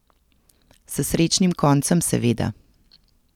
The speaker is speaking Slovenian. S srečnim koncem, seveda.